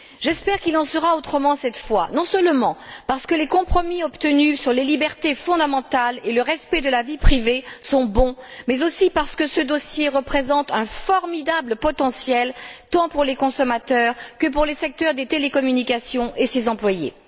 J'espère qu'il en sera autrement cette fois, non seulement parce que les compromis obtenus sur les libertés fondamentales et le respect de la vie privée sont bons, mais aussi parce que ce dossier représente un formidable potentiel tant pour les consommateurs que pour les secteurs des télécommunications et leurs employés.